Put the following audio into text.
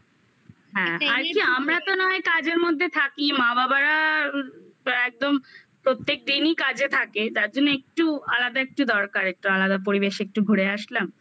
হ্যাঁ আমরা তো নয় কাজের মধ্যে থাকি মা বাবারা একদম প্রত্যেক দিনই কাজে থাকে তার জন্য একটু আলাদা একটু দরকার একটু আলাদা পরিবেশে একটু ঘুরে আসলাম